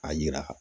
A yira